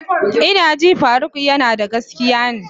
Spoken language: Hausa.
Ina ji faruk yanada gaskiya ne.